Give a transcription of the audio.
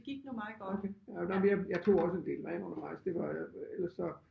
Okay jamen jeg jeg tog også en del vand undervejs det var ellers så